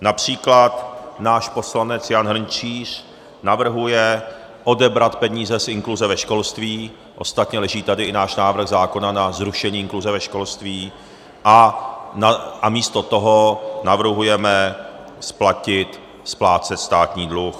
Například náš poslanec Jan Hrnčíř navrhuje odebrat peníze z inkluze ve školství, ostatně leží tady i náš návrh zákona na zrušení inkluze ve školství, a místo toho navrhujeme splatit, splácet státní dluh.